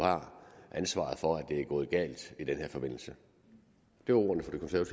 ansvaret for at det er gået galt i den her forbindelse det var ordene